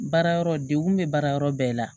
Baara yɔrɔ degu bɛ baara yɔrɔ bɛɛ la